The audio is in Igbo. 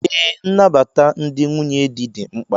Ee, nnabata ndị nwunye di dị mkpa